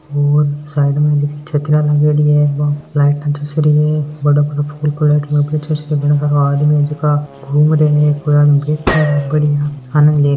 और साइड में जकी छतरिया लागयोड़ी है बड़ा बड़ा फूल आदमी जका घूम रिया है कोई अने बैठे है गलिया में --